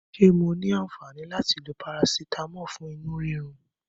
Ṣé mo ní aǹfàni láti lo parasitamọ fún inú rírun?